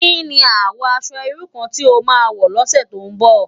Ki ni àwò aṣò irú kàn ti ó má wò lòsè tó n bò?